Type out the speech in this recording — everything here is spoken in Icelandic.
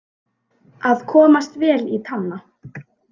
Að komast vel í tána